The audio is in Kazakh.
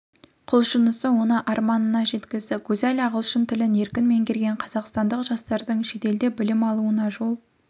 құлшынысы оны арманына жеткізді гузаль ағылшын тілін еркін меңгерген қазақстандық жастардың шетелде білім алуына жол